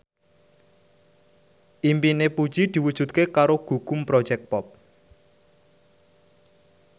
impine Puji diwujudke karo Gugum Project Pop